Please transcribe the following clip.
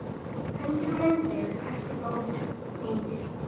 Hann myndi heita Móðir mín.